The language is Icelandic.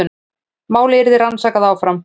Málið yrði rannsakað áfram